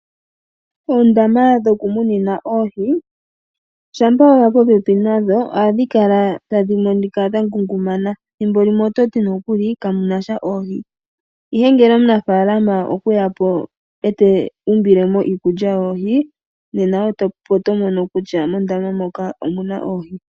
Eedama dhoku munina oohi, shampa weya popepi nadho adhii kala tadhi monika dha ngungumana thimbo limwe ototi nokuli kamu nasha oohi, ihe ngele omunafalama okweyapo eta umbilemo iikulya yohii opo tomono kutya omuna oohi.